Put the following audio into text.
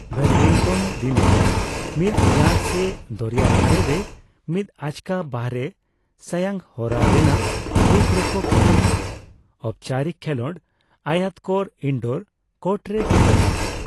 Badminton ᱫᱤᱱᱟᱹᱢ ᱢᱤᱫ yard ᱥᱮ ᱫᱚᱨᱭᱟ ᱫᱷᱟᱨᱮ ᱨᱮ ᱢᱤᱫ ᱟᱪᱠᱟ ᱵᱟᱦᱨᱮ ᱥᱟᱭᱟᱝᱦᱚᱨᱟ ᱨᱮᱱᱟᱜ ᱨᱩᱯ ᱨᱮᱠᱚ ᱠᱷᱮᱞᱚᱸᱰ ᱟᱠᱚ, ᱚᱯᱪᱟᱨᱤᱠ ᱠᱷᱮᱞᱚᱸᱰ ᱟᱭᱚᱛᱠᱟᱨ ᱤᱱᱰᱚᱨ ᱠᱚᱨᱴ ᱨᱮ ᱠᱷᱮᱞᱚᱸᱰ ᱟᱠᱚ᱾